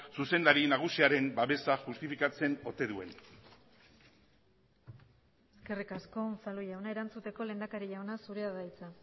zuzendari nagusiaren babesa justifikatzen ote duen eskerrik asko unzalu jauna erantzuteko lehendakari jauna zurea da hitza